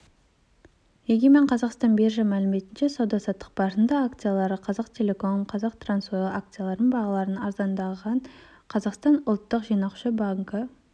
егемен қазақстан биржа мәліметінше сауда-саттық барысында акциялары қазақтелеком қазтрансойл акцияларының бағалары арзандағандар қазақстан ұлттық жинақтаушы банкі